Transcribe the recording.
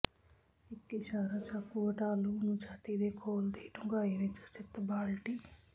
ਇੱਕ ਇਸ਼ਾਰਾ ਚਾਕੂ ਹਟਾ ਲਹੂ ਨੂੰ ਛਾਤੀ ਦੇ ਖੋਲ ਦੀ ਡੂੰਘਾਈ ਵਿੱਚ ਸਥਿਤ ਬਾਲਟੀ